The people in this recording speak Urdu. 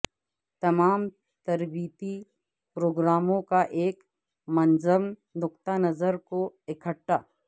تمام تربیتی پروگراموں کا ایک منظم نقطہ نظر کو اکٹھا